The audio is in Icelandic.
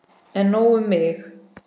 En nóg um mig.